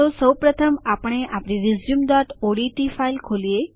તો સૌપ્રથમ આપણે આપણી resumeઓડીટી ફાઈલ ખોલીએ